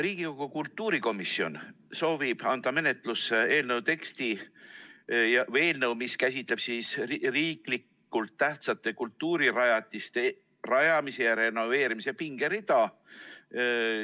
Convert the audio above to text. Riigikogu kultuurikomisjon soovib anda menetlusse eelnõu, mis käsitleb riiklikult tähtsate kultuurirajatiste rajamise ja renoveerimise pingerida.